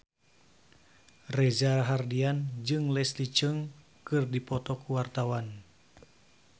Reza Rahardian jeung Leslie Cheung keur dipoto ku wartawan